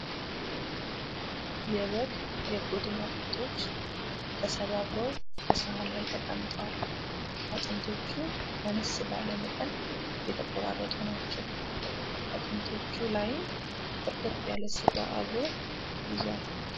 የበግ የጎድን አጥንቶች ተሰባብረው በሳህን ላይ ተቀምጠዋል። አጥንቶቹ አነስ ባለ መጠን የተቆራረጡ ናቸው። አጥንቶቹ ላይም በርከት ያለ ስጋ አብሮ ይዟል።